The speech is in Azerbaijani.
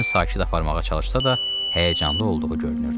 Özünü sakit aparmağa çalışsa da, həyəcanlı olduğu görünürdü.